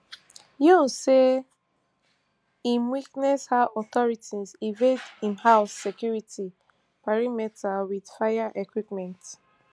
yoon say im witness how authorities invade im home security perimeter wit fire equipment